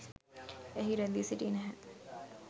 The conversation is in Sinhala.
එහි රැඳී සිටියේ නැහැ.